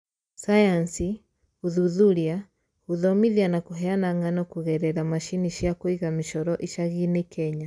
Sayansi, gũthuthuria, gũthomithia na kũheana ng'ano kũgerera macini cia kũiga mĩcoro icagiinĩ Kenya